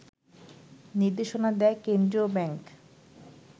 নির্দেশনা দেয় কেন্দ্রীয় ব্যাংক